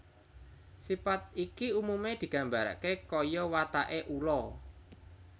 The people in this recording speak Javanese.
Sipat iki umume digambarake kaya watake ula